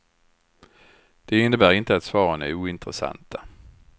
Det innebär inte att svaren är ointressanta.